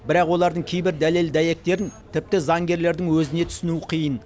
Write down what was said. бірақ олардың кейбір дәлел дәйектерін тіпті заңгерлердің өзіне түсіну қиын